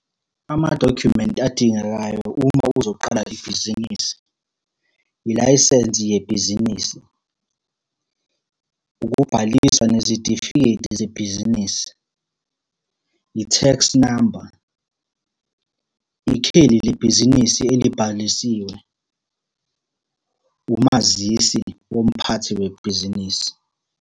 Amadokhyumenti adingekayo uma uzoqala ibhizinisi. Ilayisensi yebhizinisi, ukubhaliswa nezitifiketi zebhizinisi, i-tax number, ikheli lebhizinisi elibhalisiwe, umazisi womphathi webhizinisi.